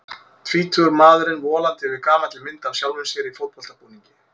Tvítugur maðurinn volandi yfir gamalli mynd af sjálfum sér í fótboltabúningi.